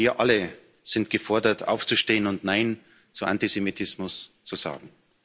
Wir alle sind gefordert, aufzustehen und Nein zu Antisemitismus zu sagen.